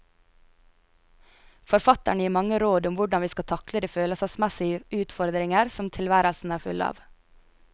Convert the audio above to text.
Forfatteren gir mange råd om hvordan vi skal takle de følelsesmessige utfordringer som tilværelsen er full av.